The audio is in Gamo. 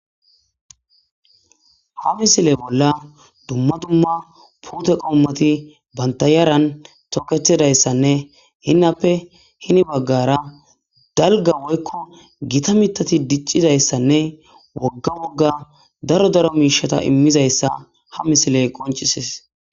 ha misile bolla dumma dumma puute qommati banta yaran toketidayssanne hinnappe hini baggara dalga woykko gita mitati diccidayssanne wogga wogga daro daro miishata immizayssa ha misiley qoncises